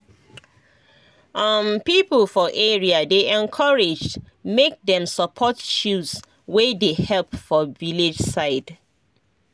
um people for area dey encouraged make dem support chws wey dey help for village side.